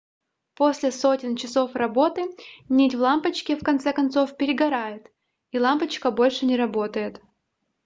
после сотен часов работы нить в лампочке в конце концов перегорает и лампочка больше не работает